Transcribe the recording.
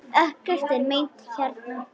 Ekkert er meint hérna.